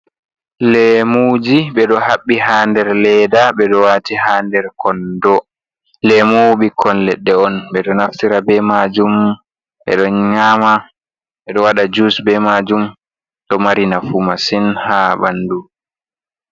Lemuji ɓe ɗo habbi ha nder leda. Ɓe ɗo wati ha nder kondo. Lemu ɓikkon leɗɗe on ɓeɗo naftira be majum, ɓe ɗo nyama, beɗo waɗa jus be majum, ɗo mari nafu masin ha ɓandu.